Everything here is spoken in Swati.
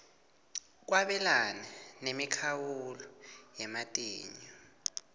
kwabelana nemikhawulo yematinyo